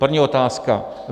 První otázka.